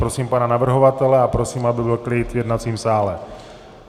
Prosím pana navrhovatele a prosím, aby byl klid v jednacím sále.